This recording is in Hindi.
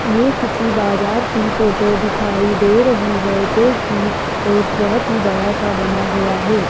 ये किसी बाजार की फोटो दिखाई दे रही है जोकि एक बहोत ही बड़ा सा बना हुआ है।